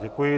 Děkuji.